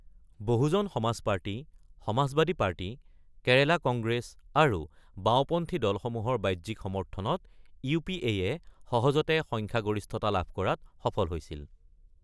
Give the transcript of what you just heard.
বহুজন Samaj party, Samajwadi party, Kerala Congress, আৰু বাওঁপন্থী দলসমূহৰ বাহ্যিক সমৰ্থনত ইউপিএয়ে সহজতে সংখ্যাগৰিষ্ঠতা লাভ কৰাত সফল হৈছিল।